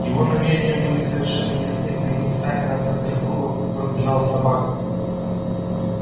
его намерения были совершенно ясны приняв сани за центр круга по которому бежала собака